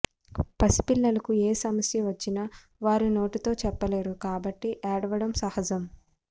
పసిపిల్లలకు ఏసమస్య వచ్చినా వారు నోటితో చెప్పలేరు కాబట్టి ఏడవడం సహజం